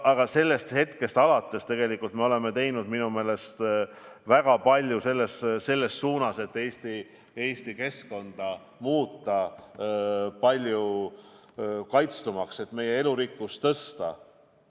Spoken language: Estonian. Aga sellest hetkest alates me oleme tegelikult teinud väga palju selle nimel, et Eesti keskkonda muuta palju kaitstumaks, et meie elurikkust suurendada.